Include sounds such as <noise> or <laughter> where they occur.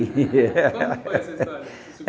<laughs> Como foi essa história?